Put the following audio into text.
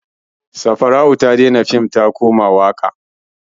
Safarau ta daina fim ta koma waƙa.